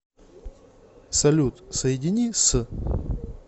салют соедини с